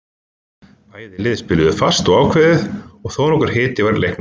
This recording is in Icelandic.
Bæði lið spiluðu fast og ákveðið og þónokkur hiti var í leiknum.